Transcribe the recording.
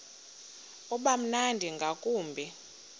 uba mnandi ngakumbi